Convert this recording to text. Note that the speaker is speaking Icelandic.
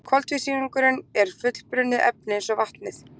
Koltvísýringurinn er fullbrunnið efni eins og vatnið.